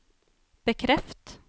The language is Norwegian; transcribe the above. bekreft